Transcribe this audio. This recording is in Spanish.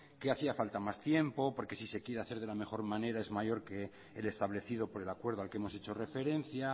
que hacía falta más tiempo porque si se quiere hacer de la mejor manera es mayor que el establecido por el acuerdo al que hemos hecho referencia